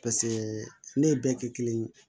Paseke ne ye bɛɛ kɛ kelen ye